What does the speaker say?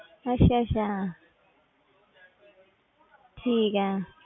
ਅੱਛਾ ਅੱਛਾ ਠੀਕ ਹੈ।